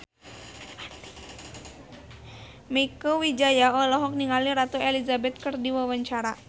Mieke Wijaya olohok ningali Ratu Elizabeth keur diwawancara